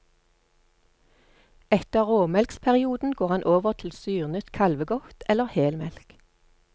Etter råmelksperioden går han over til syrnet kalvegodt eller helmelk.